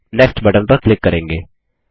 और next button पर click करेंगे